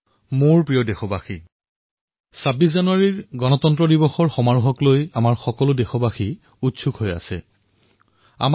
মোৰ মৰমৰ দেশবাসীসকল ২৬ জানুৱাৰীৰ গণতন্ত্ৰ দিৱস সমাৰোহক লৈ আমি দেশবাসীৰ মনত উৎসুকতাৰ সীমা নাই